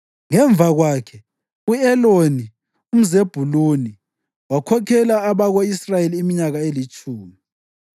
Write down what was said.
Ngemva kwakhe, u-Eloni umZebhuluni wakhokhela abako-Israyeli iminyaka elitshumi.